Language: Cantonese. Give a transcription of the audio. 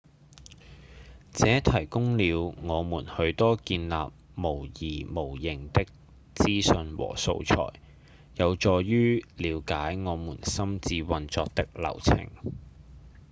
這提供了我們許多建立模擬模型的資訊和素材有助於瞭解我們心智運作的流程